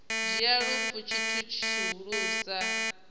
dzhia lufu tshi tshithu tshihulusa